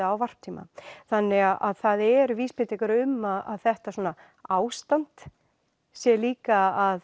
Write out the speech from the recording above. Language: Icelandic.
á varptíma þannig að það eru vísbendingar um að þetta ástand sé líka að